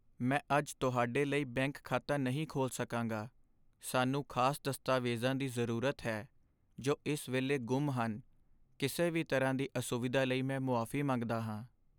ਮੈਂ ਅੱਜ ਤੁਹਾਡੇ ਲਈ ਬੈਂਕ ਖਾਤਾ ਨਹੀਂ ਖੋਲ੍ਹ ਸਕਾਂਗਾ। ਸਾਨੂੰ ਖਾਸ ਦਸਤਾਵੇਜ਼ਾਂ ਦੀ ਜ਼ਰੂਰਤ ਹੈ ਜੋ ਇਸ ਵੇਲੇ ਗੁੰਮ ਹਨ। ਕਿਸੇ ਵੀ ਤਰ੍ਹਾਂ ਦੀ ਅਸੁਵਿਧਾ ਲਈ ਮੈਂ ਮੁਆਫੀ ਮੰਗਦਾ ਹਾਂ।